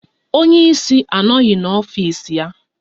Onye ísí anoghi n'ọfịs ya.